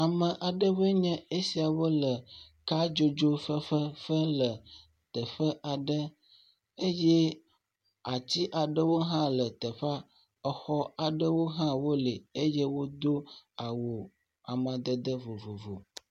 Ame aɖewoe nye esiawo le kadzodzo fefe fem le teƒe aɖe eye ati aɖewo hã teƒea, exɔ aɖewo hã wole eye wodo awu amadede vovovo.